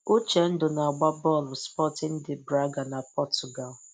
Uchendu na-agba bọọlụ Sporting de Braga na Portugal.